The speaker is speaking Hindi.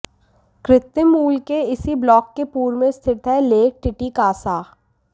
कृत्रिम मूल के इसी ब्लॉक के पूर्व में स्थित है लेक टिटिकासा